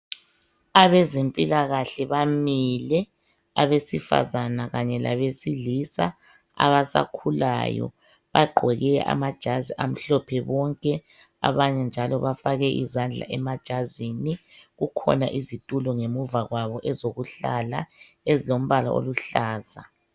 Abezempilakahle bamile abesifazana kanye labesilisa abasakhulayo .Bagqoke amajazi amhlophe bonke abanye njalo bafake izandla emajazini kukhona izitulo ngemuva kwabo ezokuhlala ezilombala oluhlaza .